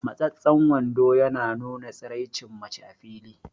Matsastsan wando ya nuna tsiraicin mace a fili